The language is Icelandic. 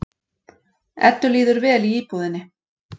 Eddu líður vel í íbúðinni.